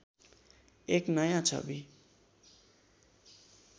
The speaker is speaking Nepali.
एक नयाँ छवि